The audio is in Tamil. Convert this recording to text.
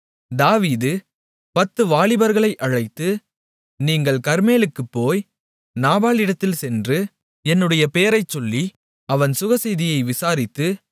தாவீது பத்து வாலிபர்களை அழைத்து நீங்கள் கர்மேலுக்குப் போய் நாபாலிடத்தில் சென்று என்னுடைய பேரைச்சொல்லி அவன் சுகசெய்தியை விசாரித்து